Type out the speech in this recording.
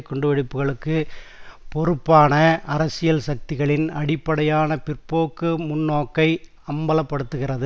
குண்டுவெடிப்புக்களுக்கு பொறுப்பான அரசியல் சக்திகளின் அடிப்படையான பிற்போக்கு முன்னோக்கை அம்பல படுத்துகிறது